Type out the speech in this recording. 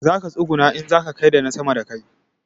Zaka tsuguna in kaza gaida na sama da kai